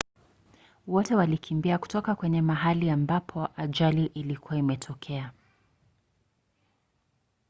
wote walikimbia kutoka kwenye mahali ambapo ajali ilikuwa imetokea